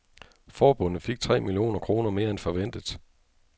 Forbundet fik tre millioner kroner mere end forventet.